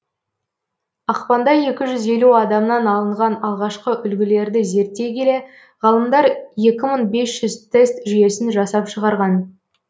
ақпанда екі жүз елу адамнан алынған алғашқы үлгілерді зерттей келе ғалымдар екі мың бес жүз тест жүйесін жасап шығарған